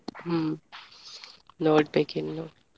ಹ್ಮ್ ನೋಡ್ಬೇಕು ಇನ್ನು.